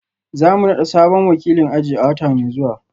Za mu nada sabon wakilin aji a wata mai zuwa